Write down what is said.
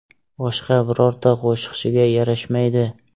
Boshqa birorta qo‘shiqchiga yarashmaydi.